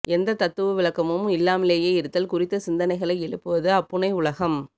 எந்த தத்துவ விளக்கமும் இல்லாமலேயே இருத்தல் குறித்த சிந்தனைகளை எழுப்புவது அப்புனைவுலகம்